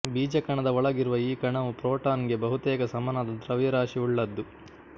ಬೀಜಕಣದ ಒಳಗಿರುವ ಈ ಕಣವು ಪ್ರೋಟಾನ್ ಗೆ ಬಹುತೇಕ ಸಮನಾದ ದ್ರವ್ಯರಾಶಿಯುಳ್ಳದ್ದು